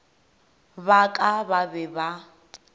ba ka ba be ba